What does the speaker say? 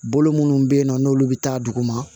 Bolo munnu bɛ yen nɔ n'olu bɛ taa duguma